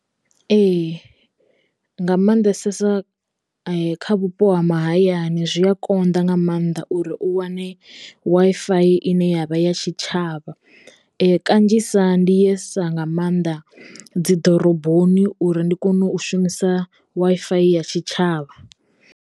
Ee nga maanḓesesa kha vhupo ha mahayani zwi a konḓa nga maanḓa uri u wane Wi-Fi ine yavha ya tshitshavha kanzhisa ndi ye sa nga maanḓa dzi ḓoroboni uri ndi kone u shumisa Wi-Fi ya tshitshavha.